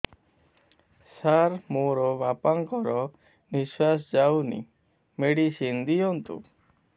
ସାର ମୋର ବାପା ଙ୍କର ନିଃଶ୍ବାସ ଯାଉନି ମେଡିସିନ ଦିଅନ୍ତୁ